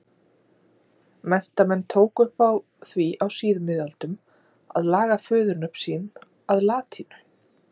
Menntamenn tóku upp á því á síðmiðöldum að laga föðurnöfn sín að latínu.